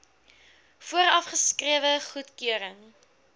vooraf geskrewe goedkeuring